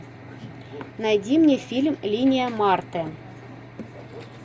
найди мне фильм линия марты